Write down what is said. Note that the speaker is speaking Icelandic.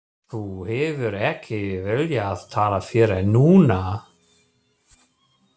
Og þú hefur ekki viljað tala fyrr en núna.